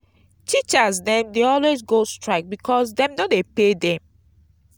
teachers dem dey always go strike because dem no dey pay dem.